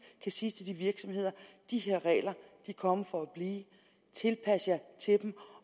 kan sige til de virksomheder de her regler er kommet for at blive tilpas jer dem